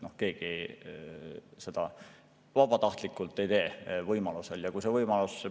Keegi seda vabatahtlikult ei, kui see võimalus on.